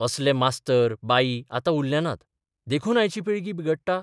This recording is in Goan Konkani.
असले मास्तर बाई आतां उरले नात देखून आयची पिळगी बिगडटा?